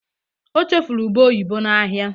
o chefuru ube oyibo na ahia